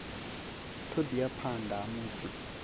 ṱho ḓea phanḓa ha musi